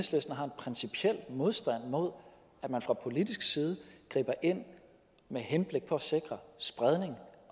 principiel modstand mod at man fra politisk side griber ind med henblik på at sikre spredning